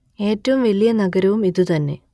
ഏറ്റവും വലിയ നഗരവും ഇതു തന്നെ